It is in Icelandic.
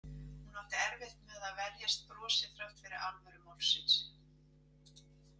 Hún átti erfitt með að verjast brosi þrátt fyrir alvöru málsins.